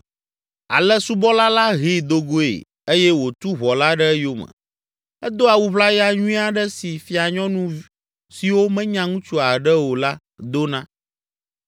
Ale subɔla la hee do goe eye wòtu ʋɔ la ɖe eyome. Edo awu ʋlaya nyui aɖe si fiavinyɔnu siwo menya ŋutsu haɖe o la dona.